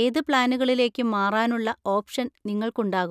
ഏത് പ്ലാനുകളിലേക്കും മാറാനുള്ള ഓപ്ഷൻ നിങ്ങൾക്കുണ്ടാകും.